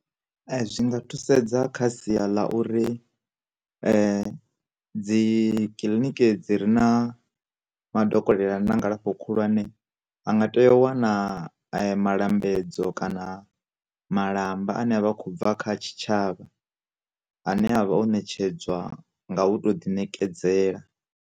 Zwinga thusedza kha sia ḽa uri ri dzi kiliniki dzi re na madokotela na ngalafho khulwane a nga tea yo wana malamba hedzo kana malamba ane a vha khou bva kha tshitshavha, ane avha o ṋetshedzwa nga u to ḓi ṋekedzela.